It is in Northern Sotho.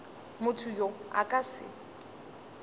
motho yo a ka se